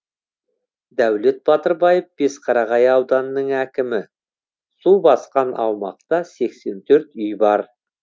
дәулет батырбаев бесқарағай ауданының әкімі су басқан аумақта сексен төрт үй бар